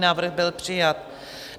Návrh byl přijat.